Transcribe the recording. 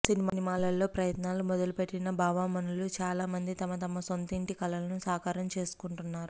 సినిమాల్లో ప్రయత్నాలు మొదలు పెట్టిన భామామనులు చాలా మంది తమ తమ సొంతింటి కలలను సాకారం చేసుకుంటున్నారు